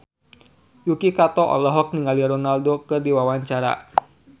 Yuki Kato olohok ningali Ronaldo keur diwawancara